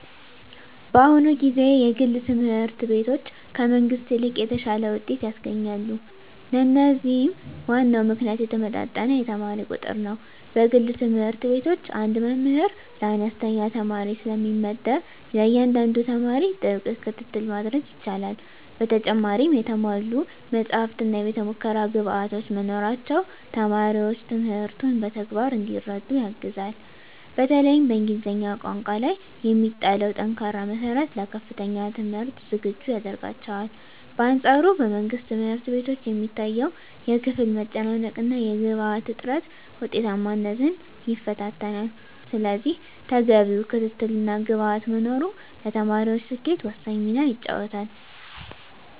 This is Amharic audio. በአሁኑ ጊዜ የግል ትምህርት ቤቶች ከመንግሥት ይልቅ የተሻለ ውጤት ያስገኛሉ። ለዚህም ዋናው ምክንያት የተመጣጠነ የተማሪ ቁጥር ነው። በግል ትምህርት ቤቶች አንድ መምህር ለአነስተኛ ተማሪዎች ስለሚመደብ፣ ለእያንዳንዱ ተማሪ ጥብቅ ክትትል ማድረግ ይቻላል። በተጨማሪም የተሟሉ መጻሕፍትና የቤተ-ሙከራ ግብዓቶች መኖራቸው ተማሪዎች ትምህርቱን በተግባር እንዲረዱ ያግዛል። በተለይም በእንግሊዝኛ ቋንቋ ላይ የሚጣለው ጠንካራ መሠረት ለከፍተኛ ትምህርት ዝግጁ ያደርጋቸዋል። በአንፃሩ በመንግሥት ትምህርት ቤቶች የሚታየው የክፍል መጨናነቅና የግብዓት እጥረት ውጤታማነትን ይፈታተናል። ስለዚህ ተገቢው ክትትልና ግብዓት መኖሩ ለተማሪዎች ስኬት ወሳኝ ሚና ይጫወታል።